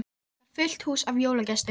Hefur þar fullt hús af jólagestum.